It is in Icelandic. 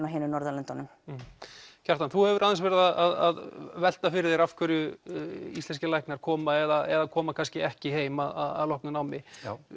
á hinum Norðurlöndunum Kjartan þú hefur aðeins verið að velta fyrir þér af hverju íslenskir læknar koma eða koma kannski ekki heim að loknu námi